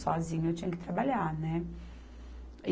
Sozinha, eu tinha que trabalhar, né?